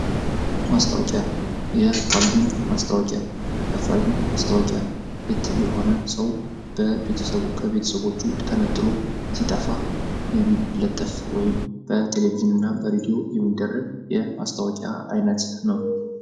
ማስታወቂያ የአፋልጉኝ ማስታወቂያ የአፋልጉኝ ማስታወቂያ የሆነ ሰው ከቤተሰቦቹ ተነጠሎ ሲጠፋ የሚለጠፉ ወይም በቴሌቪዥን እና በሬድዮ የሚደረግ የማስታወቂያ አይነት ነው።